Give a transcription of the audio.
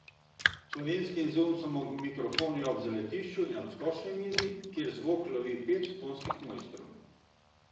Slovenski izum so mikrofoni ob zaletišču in odskočni mizi, kjer zvok lovi pet tonskih mojstrov.